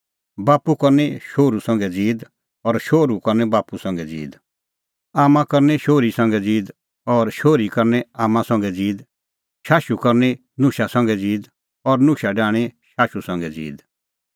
बाप्पू करनी शोहरू संघै ज़ीद और शोहरू करनी बाप्पू संघै ज़ीद आम्मां करनी शोहरी संघै ज़ीद और शोहरी करनी आम्मां संघै ज़ीद शाशुई करनी नुशा संघै ज़ीद और नुशा डाहणीं शाशुई संघै ज़ीद